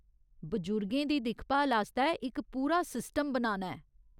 बजुर्गें दी दिक्खभाल आस्तै इक पूरा सिस्टम बनाना ऐ।